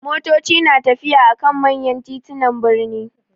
Motoci na tafiya a kan manya titunan birni.